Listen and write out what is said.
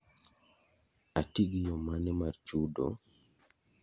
Ati gi yo mane mar chudo?